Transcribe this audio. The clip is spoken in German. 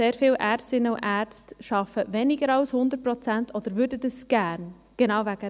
Sehr viele Ärztinnen und Ärzte arbeiten weniger als 100 Prozent oder würden dies gerne, genau deswegen.